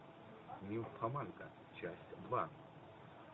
нимфоманка часть два